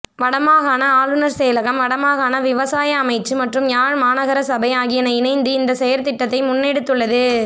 வடமாகாண ஆளனர் செயலகம் வடமாகாண விவசாய அமைச்சு மற்றும் யாழ் மாநகரசபை ஆகியன இணைந்து இந்த செயற்திட்டத்தை முன்னெடுத்துள்ளது